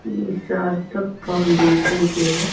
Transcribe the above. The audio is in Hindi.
इ सार्थक फाऊंडेशन के है।